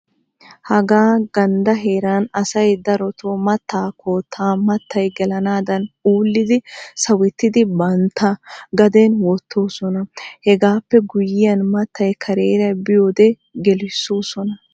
Hagaa ganddaa heeran asay darotoo mattaa koottaa mattay gelanaadan ullidi sawettidi bantta gaden wottoosona. Hegaappe guyyiyan mattay kereera biyode gelissoosona.